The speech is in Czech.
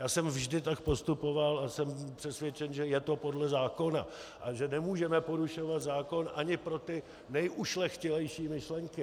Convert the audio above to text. Já jsem vždy tak postupoval a jsem přesvědčen, že je to podle zákona a že nemůžeme porušovat zákon ani pro ty nejušlechtilejší myšlenky.